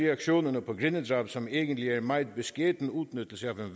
reaktionerne på grindedrab som egentlig er en meget beskeden udnyttelse